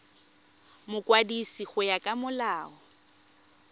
mokwadisi go ya ka molao